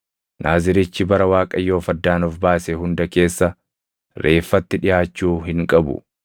“ ‘Naazirichi bara Waaqayyoof addaan of baase hunda keessa reeffatti dhiʼaachuu hin qabu.